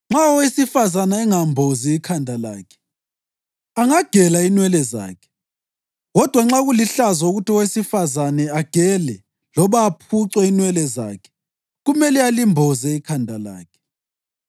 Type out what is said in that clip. Nxa owesifazane engambozi ikhanda lakhe, angagela inwele zakhe; kodwa nxa kulihlazo ukuthi owesifazane agele loba aphuce inwele zakhe, kumele alimboze ikhanda lakhe.